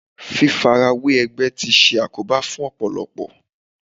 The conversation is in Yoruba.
Fífarawé ẹgbẹ́ tí ṣe àkóbá fún Ọ̀pọ̀lọ́pọ̀.